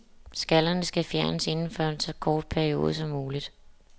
Skallerne skal fjernes inden for en så kort periode som muligt.